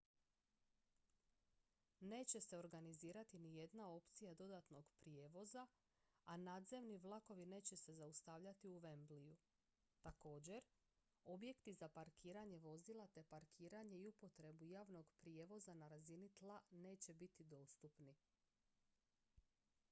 neće se organizirati nijedna opcija dodatnog prijevoza a nadzemni vlakovi neće se zaustavljati u wembleyu također objekti za parkiranje vozila te parkiranje i upotrebu javnog prijevoza na razini tla neće biti dostupni